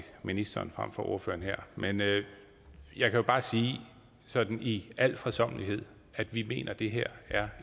ministeren frem for til ordføreren her men jeg kan jo bare sige sådan i al fredsommelighed at vi mener at det her er